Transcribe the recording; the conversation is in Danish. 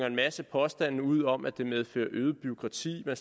en masse påstande ud om at det medfører øget bureaukrati og